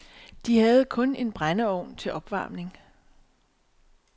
De havde kun en brændeovn til opvarmning.